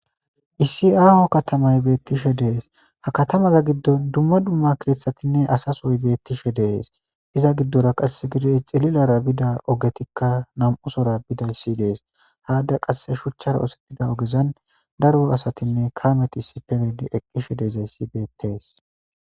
Issi aho katmay beetishe dees ha katamaza gidon duma duma kethatinne asa soy betishe dees iza gidora qaseka xirirara bida nam'u ogey bidays betees. Ha qase shuchan oosetida ogezani daro kameyinne asay hamutishe dizays betters.